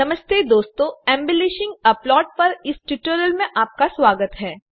नमस्ते दोस्तों embellishing a plot पर इस ट्यूटोरियल मेंआपका स्वागत है